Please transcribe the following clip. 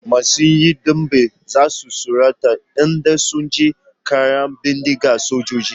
Masu yin dambe za su tsorata idan sun ji ƙaran bindigan sojoji.